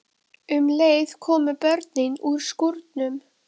Um leið komu börnin úr skúrnum.